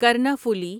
Karnaphuli